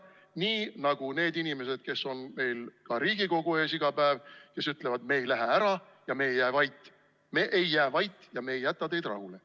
Nii nagu need inimesed, kes on meil Riigikogu ees iga päev, ütlevad, et me ei lähe ära ja me ei jää vait, ei jää ka meie vait ega jäta teid rahule.